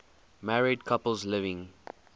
married couples living